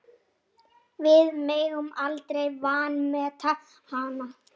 Við megum aldrei vanmeta hana.